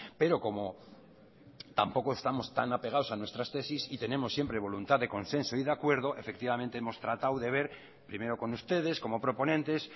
pero como tampoco estamos tan apegados a nuestras tesis y tenemos siempre voluntad de consenso y de acuerdo efectivamente hemos tratado de ver primero con ustedes como proponentes